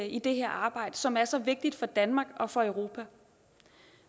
i det her arbejde som er så vigtigt for danmark og for europa